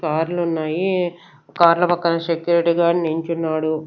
కార్లున్నాయి కార్ల పక్కన security guard నించున్నాడు.